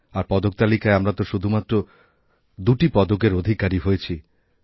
আর পদক তালিকায় আমরা তো শুধুমাত্র দুটি পদকের অধিকারী হয়েছি